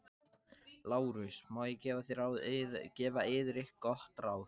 LÁRUS: Má ég gefa yður gott ráð?